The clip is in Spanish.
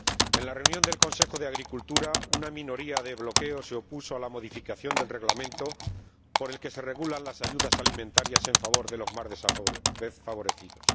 En la reunión del Consejo de Agricultura, una minoría de bloqueo se opuso a la modificación del Reglamento por el que se regulan las ayudas alimentarias en favor de los más desfavorecidos.